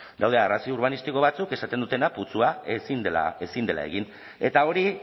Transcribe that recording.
daude arrazoi urbanistiko batzuk esaten dutenak putzua ezin dela egin eta hori